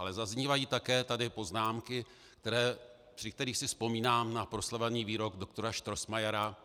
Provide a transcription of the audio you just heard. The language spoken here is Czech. Ale zaznívají také tady poznámky, při kterých si vzpomínám na proslavený výrok doktora Strossmayera